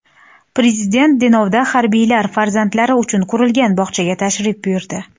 Prezident Denovda harbiylar farzandlari uchun qurilgan bog‘chaga tashrif buyurdi .